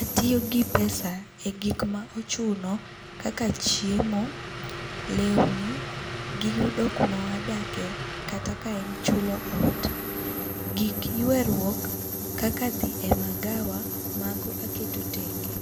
Atiyo gi pesa e timo gik ma ochuno kaka chiemo, lewni, gi yudo ku ma wadakie kata ka en chulo ot, gik yweruok kaka dhi e magawa ma go aketo tenge,